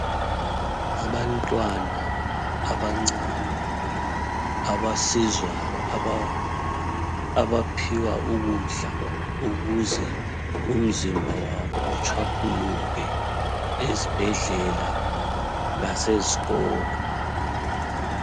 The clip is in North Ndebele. Abantwana abancane abasizwayo ,abaphiwa ukudla ukuze umzimba wabo utshwaphuluke ezibhedlela lasezikolo.